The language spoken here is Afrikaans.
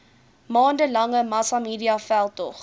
maande lange massamediaveldtog